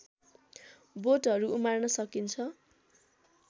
बोटहरू उमार्न सकिन्छ